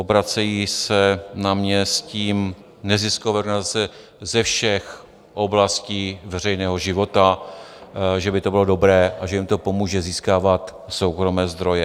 Obracejí se na mě s tím neziskové organizace ze všech oblastí veřejného života, že by to bylo dobré a že jim to pomůže získávat soukromé zdroje.